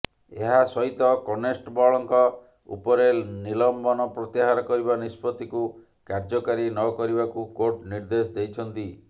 ଏହା ସହିତ କନଷ୍ଟେବଳଙ୍କ ଉପରେ ନିଲମ୍ବନ ପ୍ରତ୍ୟାହାର କରିବା ନିଷ୍ପତ୍ତିକୁ କାର୍ୟ୍ୟକାରୀ ନ କରିବାକୁ କୋର୍ଟ ନିର୍ଦ୍ଦେଶ ଦେଇଛନ୍ତି